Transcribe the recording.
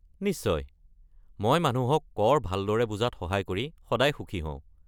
নিশ্চয়, মই মানুহক কৰ ভালদৰে বুজাত সহায় কৰি সদায় সুখী হওঁ।